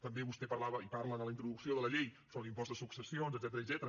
també vostè parlava i parla en la introducció de la llei sobre l’impost de successions etcètera